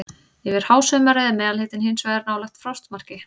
Yfir hásumarið er meðalhitinn hins vegar nálægt frostmarki.